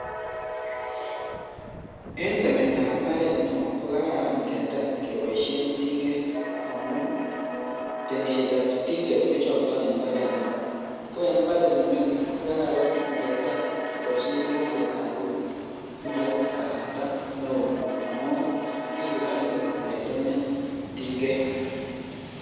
En temet ab imbaret neo kokararan ingetem kenboishe tinget amun temishet ab tinget kojokto en imbaret neo ko en imbaret nemingin kokarara ingetem keboishen mokombet tab eut simoip kasarta neo ngamun iku kali ngetemen tinget.